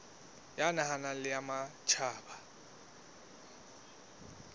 ya naha le ya matjhaba